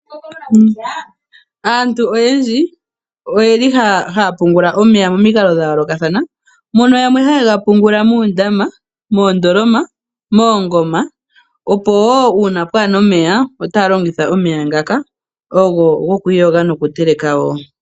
Aantu oyendji oye li haya pungula omeya momikalo dha yoolokathana, mono yamwe haye ga pungula muundama, moondoloma osho wo moongoma. Uuna pwaa he na omeya otaa longitha omeya ngaka ogo goku iyoga nokuteleka wo.